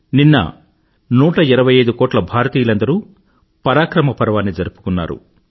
నిన్న 125కోట్ల భారతీయులందరూ పరాక్రమ పర్వాన్ని జరుపుకున్నారు